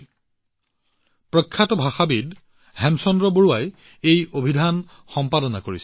ইয়াক প্ৰখ্যাত ভাষাবিদ হেমচন্দ্ৰ বৰুৱাই সম্পাদনা কৰিছিল